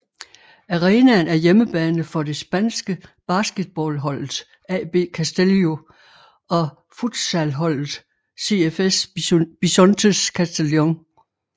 Arenaen er hjemmebane for det spanske basketballholdet AB Castelló og futsalholdet CFS Bisontes Castellón